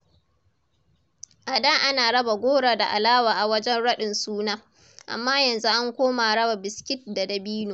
A da ana raba goro da alewa a wajen raɗin suna, amma yanzu an koma raba biskit da dabino.